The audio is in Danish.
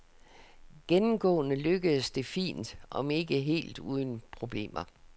Gennemgående lykkedes det fint, om end ikke helt uden problemer.